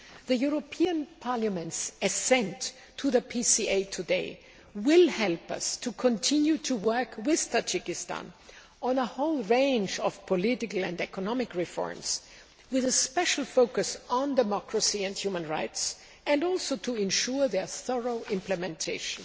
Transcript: The European Parliament's assent to the PCA today will help us to continue to work with Tajikistan on a whole range of political and economic reforms, with a special focus on democracy and human rights, and also to ensure their thorough implementation.